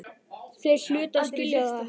Þeir hlutu að skilja það.